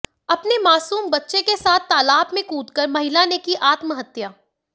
अपने मासूम बच्चे के साथ तालाब में कूदकर महिला ने की आत्महत्या